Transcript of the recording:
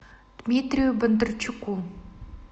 дмитрию бондарчуку